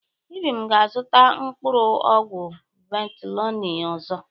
Ibim ga-azụta mkpụrụ ọgwụ ventolịn ọzọ.